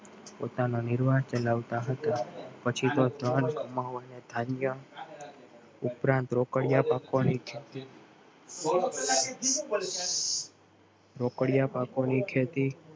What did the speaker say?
પોતાના નિર્વાહ ચલાવતા હતા ઉપરાંત રોકડિયા રોકડિયા પાકો ની ખેતી